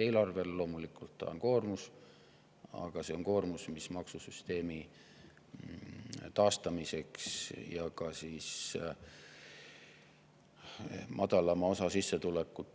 Eelarvele on see loomulikult koormus, aga see on koormus, mis on maksusüsteemi taastamiseks ja madalama sissetuleku